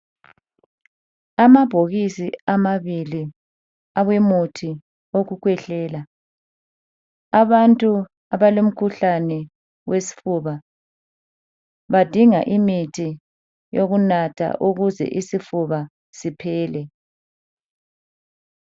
Amabhokisi amabili awomuthi wokukhwehlela , abantu abesifuba badinga imithi yokunatha ukuze isifuba siphele.